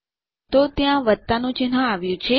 તો ત્યાં વત્તા નું ચિહ્ન આવ્યું છે